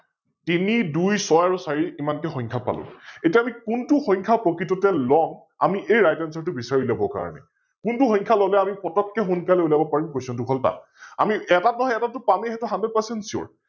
তিনি, দুই, ছই আৰু চাৰি ইমানটো সংখ্যা পালো, এতিয়া আমি কোনটো সংখ্যা প্ৰকৃততে লম আমি এই RightAnswer টো বিছাৰি উলিয়াবৰ কাৰনে । কোনটো সংখ্যা ললে আমি পতককৈ সোনকালে উলিয়াব পাৰিম Question টো হল তাত? আমি এটাত নহয় এটাতটো পামে সৈটো HundredpercentSure